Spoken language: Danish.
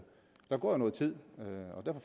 der går jo noget tid